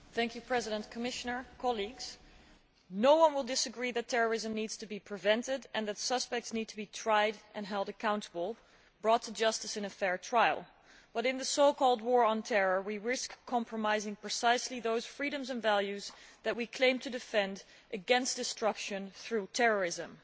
Mr President, no one will disagree that terrorism needs to be prevented and that suspects need to be tried and held accountable, brought to justice in a fair trial, but in the so called war on terror, we risk compromising precisely those freedoms and values that we claim to defend against destruction through terrorism.